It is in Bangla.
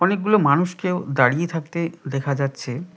অনেকগুলো মানুষকেও দাঁড়িয়ে থাকতে দেখা যাচ্ছে।